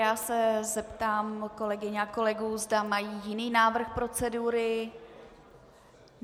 Já se zeptám kolegyň a kolegů, zda mají jiný návrh procedury.